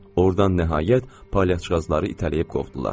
Ordan nəhayət palyaçıqazları itələyib qovdular.